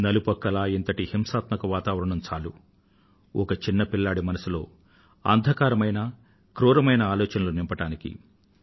నలువైపులా ఇంతటి హింసాత్మక వాతావరణం చాలు ఒక చిన్న పిల్లాడి మనస్సులో అంధకారమైన క్రూరమైన ఆలోచనలను నింపడానికి